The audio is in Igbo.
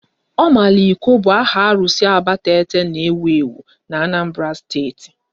Omaliko bụ áhà arụsị Abatete n'ewu ewu na Anambra Steeti